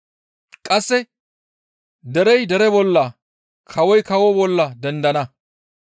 Qasse, «Derey dere bolla, kawoy kawo bolla dendana.